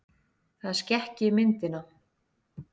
Það skekki myndina.